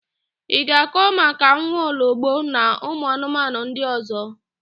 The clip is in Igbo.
Ị ga-akọ maka nwaologbo na ụmụanụmanụ ndị ọ̀zọ́?